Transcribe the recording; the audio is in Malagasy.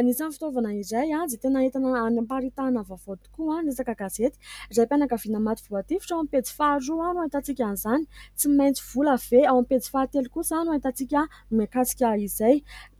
Anisany fitaovana iray izay tena entana anam-paritahana vaovao tokoa ny resaka gazety raim-pianakavina maty voatifitra ao aminy pejy faharoa ah ! No ahitantsika an'izany tsy maintsy vola ve ? Ao amin'ny pejy fahatelo kosa no ahitantsika mikasika izay.